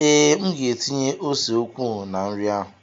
Ee, M ga-etinye ose ukwuu na nri ahụ.